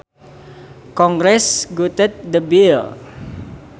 Congress gutted the bill